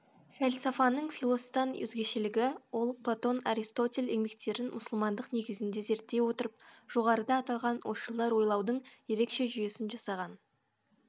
фәлсафаның филос дан өзгешелігі ол платон аристотель еңбектерін мұсылмандық негізінде зерттей отырып жоғарыда аталған ойшылдар ойлаудың ерекше жүйесін жасаған